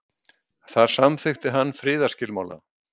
þar samþykkti hann friðarskilmála